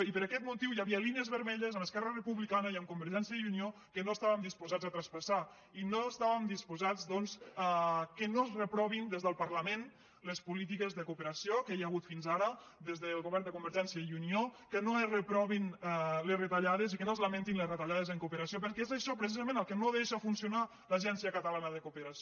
i per aquest motiu hi havia línies vermelles amb esquerra republicana i amb convergència i unió que no estàvem disposats a traspassar i no estàvem disposats doncs que no es reprovin des del parlament les polítiques de cooperació que hi ha hagut fins ara des del govern de convergència i unió que no es reprovin les retallades i que no es lamentin les retallades en cooperació perquè és això precisament el que no deixa funcionar l’agència catalana de cooperació